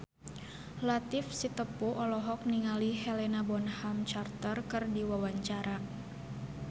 Latief Sitepu olohok ningali Helena Bonham Carter keur diwawancara